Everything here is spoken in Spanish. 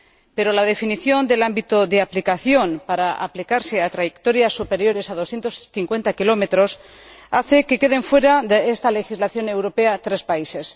Pero la definición del ámbito de aplicación, es decir, trayectos superiores a 250 km, hace que queden fuera de esta legislación europea tres países.